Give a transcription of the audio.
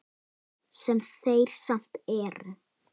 Sem þeir samt eru.